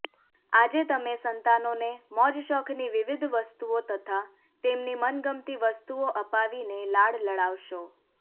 આજે તમે સંતાનોને મોજશોખની વિવિધ વસ્તુઓ તથા તેમની મનગમતી વસ્તુઓ અપાવીને લાડ લડાવશો